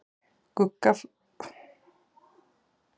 gluggaflöt í eina kirkjuna.